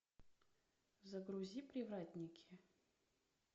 загрузи привратники